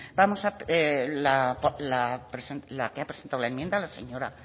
la que ha presentado la enmienda la señora